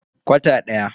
Kwata daya.